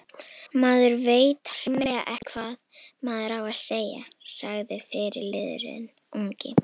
Maður veit hreinlega ekki hvað maður á að segja, sagði fyrirliðinn ungi.